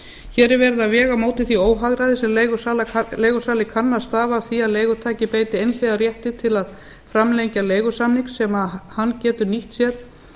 hér er verið að vega á móti því óhagræði sem leigusala kann að stafa af því að leigutaki beiti einhliða rétti til að framlengja leigusamning sem hann getur nýtt sér